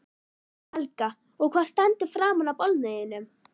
Helga: Og hvað stendur framan á bolnum þínum?